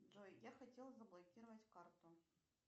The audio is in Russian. джой я хотела заблокировать карту